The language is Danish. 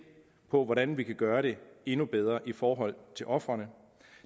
på hvordan vi kan gøre det endnu bedre i forhold til ofrene